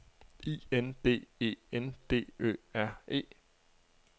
I N D E N D Ø R E